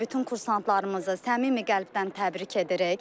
Bütün kursantlarımızı səmimi qəlbdən təbrik edirik.